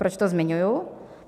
Proč to zmiňuji?